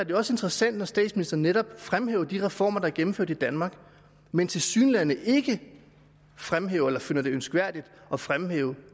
jo også interessant når statsministeren netop fremhæver de reformer der er gennemført i danmark men tilsyneladende ikke fremhæver eller finder det ønskværdigt at fremhæve